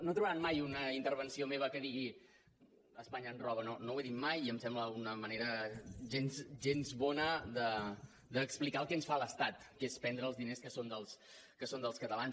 no trobaran mai una intervenció meva que digui espanya ens roba no ho he dit mai i em sembla una manera gens bona d’explicar el que ens fa l’estat que és prendre els diners que són dels catalans